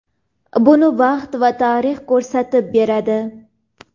buni vaqt va tarix ko‘rsatib beradi.